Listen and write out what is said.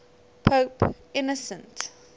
pope innocent